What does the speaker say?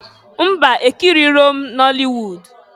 Mba! Ekiriro m nọlị wud.